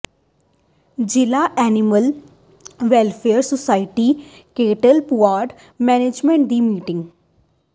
ਜ਼ਿਲ੍ਹਾ animal welfare society cattle pound management ਦੀ meeting